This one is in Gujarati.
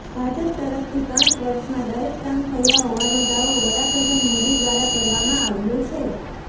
ભાજપ તરફથી પાંચ વર્ષમાં દરેક કામ થયા હોવાનો દાવો વડાપ્રધાન મોદી દ્વારા કરવામા આવ્યો છે